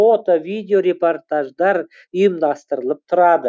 фото видео репортаждар ұйымдастырылып тұрады